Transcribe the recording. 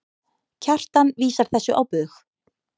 Kjartan vísar þessu á bug.